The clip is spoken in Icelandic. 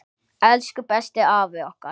Elsku besti afi okkar!